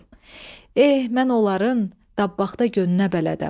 Eh, mən onların dabaxda gönünə bələdəm.